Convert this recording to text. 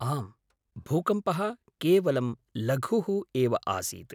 आम्, भूकम्पः केवलं लघुः एव आसीत्।